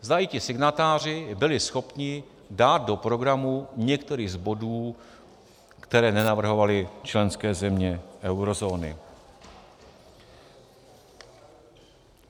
Zdali ti signatáři byli schopni dát do programu některý z bodů, které nenavrhovaly členské země eurozóny.